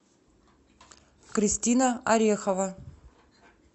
кристина орехова